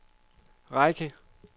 række